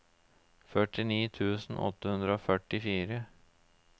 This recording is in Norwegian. førtini tusen åtte hundre og førtifire